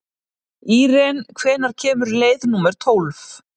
Íren, hvenær kemur leið númer tólf?